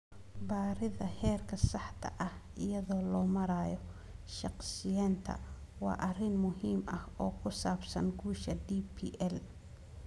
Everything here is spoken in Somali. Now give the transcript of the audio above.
'Baridda heerka saxda ah', iyada oo loo marayo shakhsiyeynta waa arrin muhiim ah oo ku saabsan guusha DPL